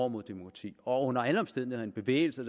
mod demokrati og under alle omstændigheder en bevægelse